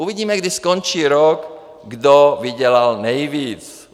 Uvidíme, kdy skončí rok, kdo vydělal nejvíc.